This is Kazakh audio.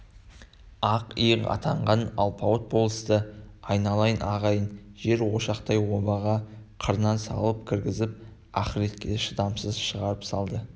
ақ иық атанған алпауыт болысты айналайын ағайын жер ошақтай обаға қырынан салып кіргізіп ахиретке шыдамсыз шығарып салды